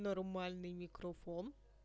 нормальный микрофон